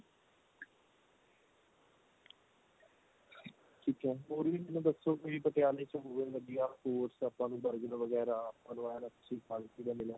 ਠੀਕ ਏ ਹੋਰ ਵੀ ਮੈਨੂੰ ਦੱਸੋ ਵੀ ਪਟਿਆਲੇ ਚ ਹੋਰ ਵਧੀਆ ਆਪਾਂ ਕੋਈ burger ਵਗੈਰਾ ਮੈਨੂੰ ਇਹ ਦੱਸੋ